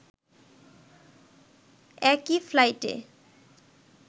একই ফ্লাইটে